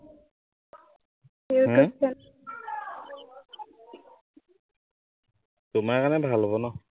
তোমাৰ কাৰনে ভাল হব ন?